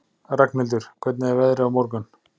Ragnhildur, hvernig er veðrið á morgun?